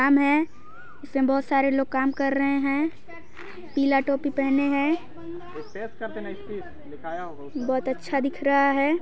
इसमें बहुत सारे लोग कम कर रहे हैं पीला टोपी पहने हैं बहुत अच्छा दिख रहा है।